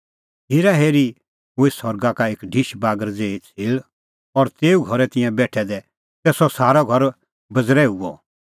हेरा हेरी हुई सरगा का एक ढिश बागर ज़ेही छ़ेल़ और ज़ेऊ घरै तिंयां बेठै दै तै सह सारअ घर बज़ेर्हूअ